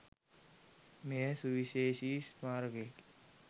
මෙය සුවිශේෂී ස්මාරකයකි.